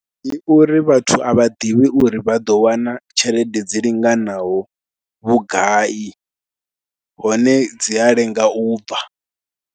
Ndi uri vhathu a vha ḓivhi uri vha ḓo wana tshelede dzi linganaho vhugai hone dzi a lenga u bva.